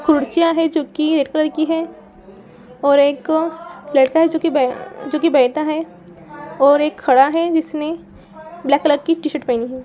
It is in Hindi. कुर्सियां हैं जो कि रेड कलर की हैं और एक लड़का है जो कि बै जो की बैठा है और एक खड़ा है जिसने ब्लैक कलर की टीशर्ट पहनी है।